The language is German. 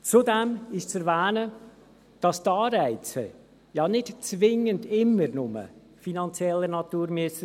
Zudem ist zu erwähnen, dass die Anreize ja nicht zwingend immer nur finanzieller Natur sein müssen.